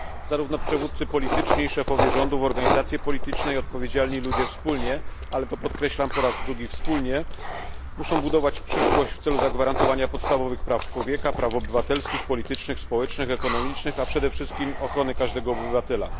Zarówno przywódcy polityczni i szefowie rządów, organizacje polityczne, jak i odpowiedzialni ludzie wspólnie ale to podkreślam po raz drugi, wspólnie muszą budować przyszłość w celu zagwarantowania podstawowych praw człowieka, praw obywatelskich, politycznych, społecznych, ekonomicznych, a przede wszystkim ochrony każdego obywatela.